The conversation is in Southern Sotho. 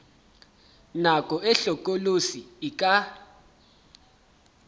nako e hlokolosi e ka